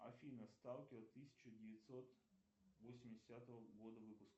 афина сталкер тысяча девятьсот восьмидесятого года выпуска